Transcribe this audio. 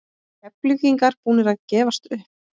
Eru Keflvíkingar búnir að gefast upp?